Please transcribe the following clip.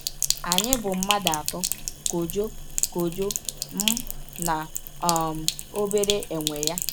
Anyị bụ mmadụ atọ: Kojo, Kojo, m, na um obere enwe ya.